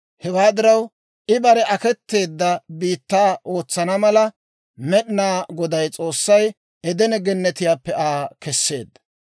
Hewaa diraw, I bare aketeedda biittaa ootsana mala, Med'ina Goday S'oossay Edene Gennetiyaappe Aa keseedda.